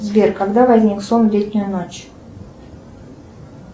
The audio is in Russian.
сбер когда возник сон в летнюю ночь